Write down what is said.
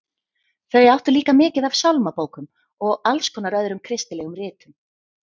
Þau áttu líka mikið af sálmabókum og alls konar öðrum kristilegum ritum.